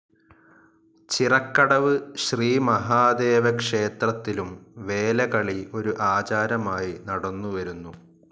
ചിറക്കടവ് ശ്രീ മഹാദേവ ക്ഷേത്രത്തിലും വേലകളി ഒരു ആചാരമായി നടന്നുവരുന്നു.